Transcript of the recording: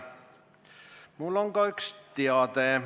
Mul on ka üks teade.